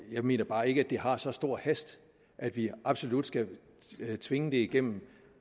jeg mener bare ikke at det har så stor hast at vi absolut skal tvinge det igennem